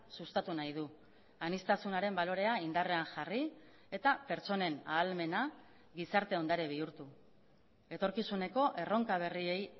sustatu nahi du aniztasunaren balorea indarrean jarri eta pertsonen ahalmena gizarte ondare bihurtu etorkizuneko erronka berriei